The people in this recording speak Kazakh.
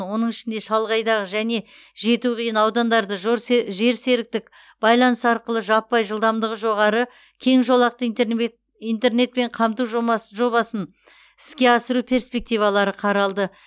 оның ішінде шалғайдағы және жету қиын аудандарды жерсеріктік байланыс арқылы жаппай жылдамдығы жоғары кең жолақты интернетпен қамту жобасын іске асыру перспективалары қаралды